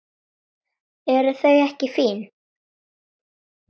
Eru þau ekki fín?